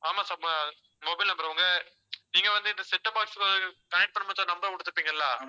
ஆமா sir இப்ப mobile number உங்க, நீங்க வந்து இந்த set top boxconnect பண்ணும்போது ஒரு number கொடுத்திருப்பீங்க இல்ல